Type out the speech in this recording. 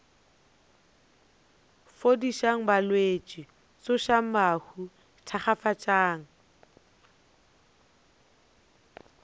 fodišang balwetši tsošang bahu thakgafatšang